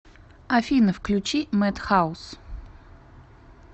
афина включи мэд хаус